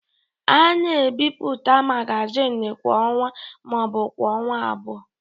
A na-ebipụta magazin kwa ọnwa ma ọ bụ kwa ọnwa abụọ.